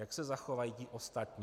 Jak se zachovají ti ostatní?